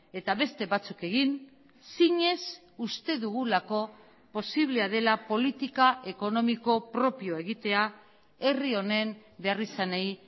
eta beste batzuk egin sines uste dugulako posiblea dela politika ekonomiko propioa egitea herri honen berrizanei